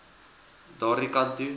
daardie kant toe